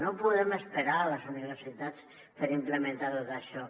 no podem esperar a les universitats per implementar tot això